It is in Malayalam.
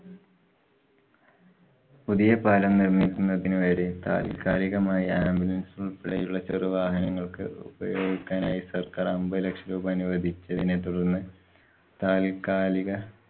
പുതിയ പാലം നിര്‍മ്മിക്കുന്നതിന് വരെ താല്‍ക്കാലികമായി ambulance പോലെയുള്ള ചെറുവാഹനങ്ങള്‍ക്ക് ഉപയോഗിക്കാനായി സര്‍ക്കാര്‍ അമ്പതു ലക്ഷം രൂപ അനുവദിച്ചതിനെ തുടര്‍ന്ന് താല്‍ക്കാലിക